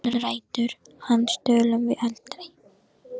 Um ræður hans tölum við aldrei.